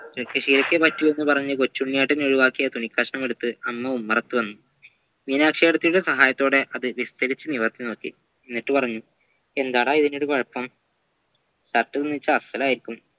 കിടക്കശീലക്കേ പറ്റു എന്ന് പറഞ്ഞ് കൊച്ചുണ്ണിയേട്ടൻ ഒഴുവാക്കിയ തുണിക്കഷ്ണമെടുത്ത അമ്മ ഉമ്മറത്തുവന്നു മീനാക്ഷിയേച്ചിയുടെ സഹായത്തോടെ അത് വിസ്തരിച്ച് നോക്കി എന്നിട്ടുപറഞ്ഞു എന്താടാ ഇതിനൊരു കുഴപ്പം shirt തുന്നിച്ച അസ്സലായിരിക്കും